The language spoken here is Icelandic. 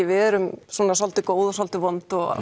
við erum svolítið góð og svolítið vond og